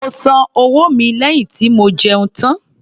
Mo san owó mi lẹ́yìn tí mo jẹun tán